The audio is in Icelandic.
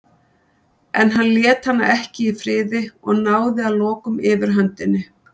En hann lét hana ekki í friði og náði að lokum yfirhöndinni.